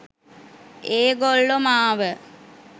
ඒගොල්ලො මාව